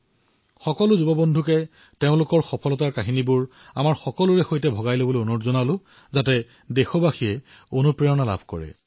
মই সমূহ যুৱ বন্ধুক আহ্বান জনাম যে তেওঁলোকে নিজৰ কাহিনী নিজৰ কথা যি দেশক উজ্জীৱিত কৰিব পাৰে সেয়া বিনিময় কৰক